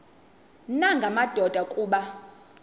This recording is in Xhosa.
nanga madoda kuba